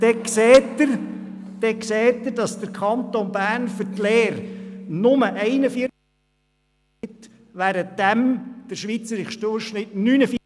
Wenn Sie dies lesen, sehen Sie, dass der Kanton Bernfür die Lehre nur 41 Prozent ausgibt, während der schweizerische Durchschnitt 49 Prozent beträgt –